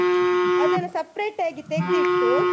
ಅದ್ನ separate ಆಗಿ ತೆಗ್ದಿಟ್ಟು.